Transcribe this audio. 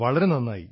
വളരെ നന്നായി